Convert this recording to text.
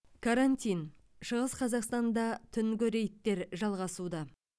карантин шығыс қазақстанда түнгі рейдтер жалғасуда